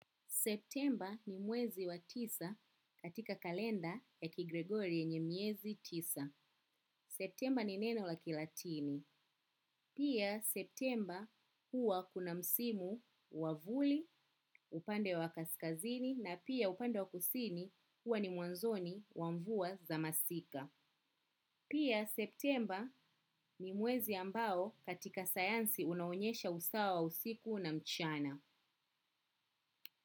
September ni mwezi wa tisa katika kalenda ya kigregory yenye miezi tisa. September ni neno la kilatini. Pia September huwa kuna msimu wavuli, upande wa kaskazini na pia upande wa kusini huwa ni mwanzoni wamvua za masika. Pia September ni mwezi ambao katika sayansi unaonyesha usawa usiku na mchana.